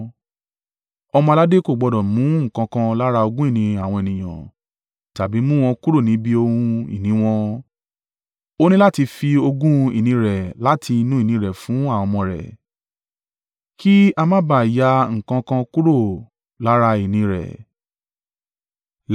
Ọmọ-aládé kò gbọdọ̀ mú nǹkan kan lára ogún ìní àwọn ènìyàn, tàbí mú wọn kúrò níbi ohun ìní wọn. Ó ní láti fi ogún ìní rẹ̀ láti inú ìní rẹ̀ fún àwọn ọmọ rẹ̀, kí a ma ba à ya nǹkan kan kúrò lára ìní rẹ̀.’ ”